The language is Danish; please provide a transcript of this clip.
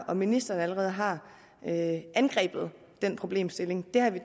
og ministeren allerede har angrebet den problemstilling det har vi